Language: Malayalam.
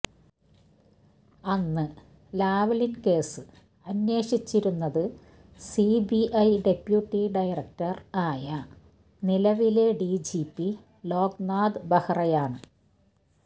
അന്ന് ലാവ്ലിന് കേസ് അന്വേഷിച്ചിരുന്നത് സിബിഐ ഡെപ്യൂട്ടി ഡയറക്ടര് ആയ നിലവിലെ ഡിജിപി ലോക്നാഥ് ബെഹ്റയാണ്